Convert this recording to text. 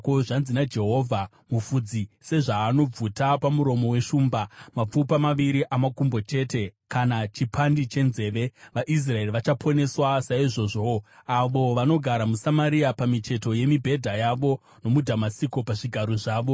Zvanzi naJehovha: “Mufudzi sezvaanobvuta pamuromo weshumba mapfupa maviri amakumbo chete kana chipandi chenzeve, vaIsraeri vachaponeswa saizvozvowo, avo vanogara muSamaria pamicheto yemibhedha yavo, nomuDhamasiko pazvigaro zvavo.”